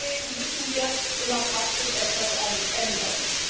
Deswegen müssen wir in der Praxis etwas ändern.